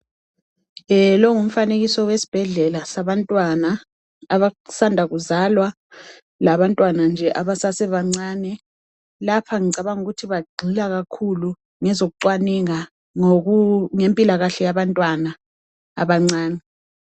Lowu ngumfanekiso wesibhedlela sabantwana abasanda kuzalwa labantwana nje abasasebancane. Lapho ngicabanga ukuthi bagxila kakhulu ngezocwaningo ngempilakahle yabantwana abancane.